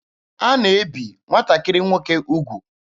A na-ebi nwatakịrị nwoke ugwu.